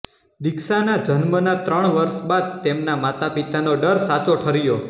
દીક્ષાના જન્મના ત્રણ વર્ષ બાદ તેમનાં માતાપિતાનો ડર સાચો ઠર્યો